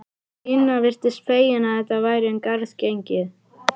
Stína virtist fegin að þetta væri um garð gengið.